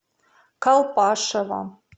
колпашево